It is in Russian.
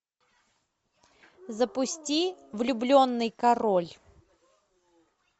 запусти влюбленный король